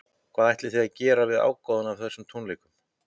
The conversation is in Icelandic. Hvað ætlið þið að gera við ágóðann af þessum tónleikum?